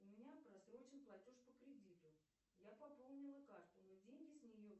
у меня прострочен платеж по кредиту я пополнила карту но деньги с нее